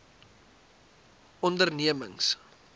ondernemings